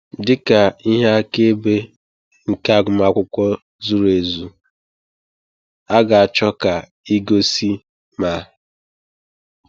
Dị ka ihe akaebe nke agụmakwụkwọ zuru ezu, a ga-achọ ka ị gosi ma: